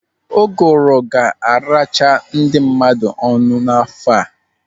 Uguru ga-aracha ndị mmadụ ọnụ n'afọ a.